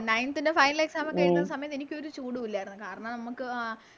Ninteth ൻറെ Final exam ഒക്കെ എഴുതുന്നത് സമയത്ത് എനിക്കൊരു ചൂടു ഇല്ലാരുന്നു കാരണം നമുക്ക് ആ